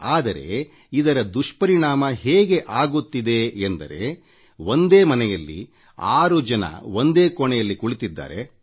ಆದರೆ ಇದರ ದುಷ್ಪರಿಣಾಮ ಹೇಗೆ ಆಗುತ್ತಿದೆ ಎಂದರೆ ಒಂದೇ ಮನೆಯಲ್ಲಿ ಆರು ಜನ ಒಂದೇ ಕೋಣೆಯಲ್ಲಿ ಕುಳಿತಿದ್ದಾರೆ